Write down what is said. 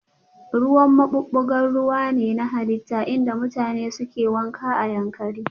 Ruwan maɓuɓɓugar ruwa ne na halitta inda mutane suke wanka a Yankari